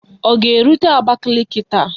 Ọ ga-erute Abakaliki taa?